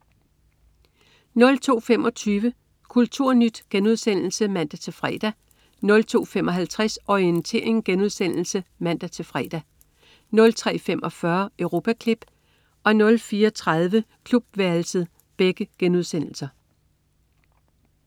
02.25 Kulturnyt* (man-fre) 02.55 Orientering* (man-fre) 03.45 Europaklip* 04.30 Klubværelset*